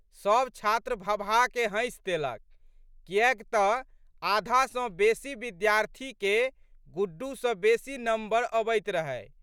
सब छात्र भभाके हँसि देलक कियैक त आधा सँ बेशी विद्यार्थीके गुड्डू सँ बेशी नम्बर अबैत रहै।